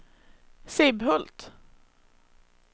Sibbhult